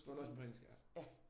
Du har læst dem på engelsk ja?